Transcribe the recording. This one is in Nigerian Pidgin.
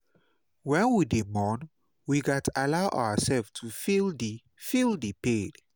wen we dey mourn we gats allow ourselves to feel di feel di pain.